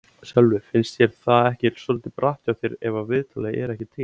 Sölvi: Finnst þér það ekki svolítið bratt hjá þér ef að viðtalið er ekki til?